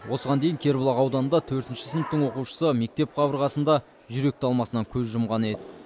осыған дейін кербұлақ ауданында төртінші сыныптың оқушысы мектеп қабырғасында жүрек талмасынан көз жұмған еді